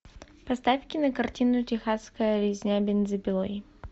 поставь кинокартину техасская резня бензопилой